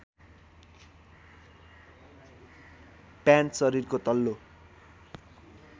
pant शरीरको तल्लो